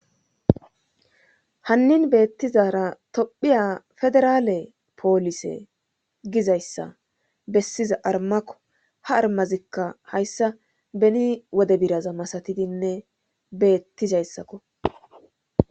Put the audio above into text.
Hannin beettizara tophiya federaale poolise gizayssa bessiza armakko ha armazikka hayssa beni wode biraza masatidinne beettizayssakko